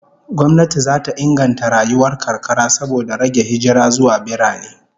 Gwamnati zata inganta rayuwar karkara saboda rage hijira zuwa birane